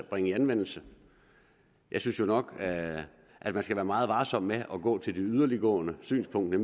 bringe i anvendelse jeg synes jo nok at at man skal være meget varsom med at gå til det yderliggående synspunkt at